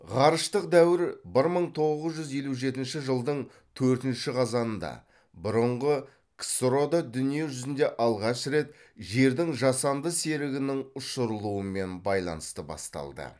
ғарыштық дәуір бір мың тоғыз жүз елу жетінші жылдың төртінші қазанында бұрынғы ксро да дүние жүзінде алғаш рет жердің жасанды серігінің ұшырылуымен байланысты басталды